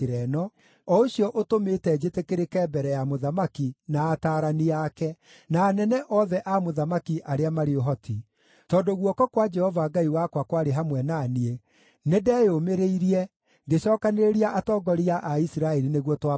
o ũcio ũtũmĩte njĩtĩkĩrĩke mbere ya mũthamaki, na ataarani ake, na anene othe a mũthamaki arĩa marĩ ũhoti. Tondũ guoko kwa Jehova Ngai wakwa kwarĩ hamwe na niĩ, nĩndeyũmĩrĩirie, ngĩcookanĩrĩria atongoria a Isiraeli nĩguo twambate nao.